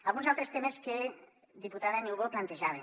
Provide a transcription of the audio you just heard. alguns altres temes que diputada niubó plantejava